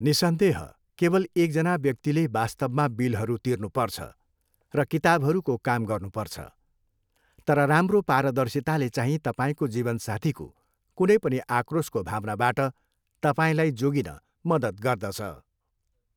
निस्सन्देह, केवल एकजना व्यक्तिले वास्तवमा बिलहरू तिर्नुपर्छ र किताबहरूको काम गर्नुपर्छ, तर राम्रो पारदर्शिताले चाहिँ तपाईँको जीवनसाथीको कुनै पनि आक्रोशको भावनाबाट तपाईँलाई जोगिन मद्दत गर्दछ।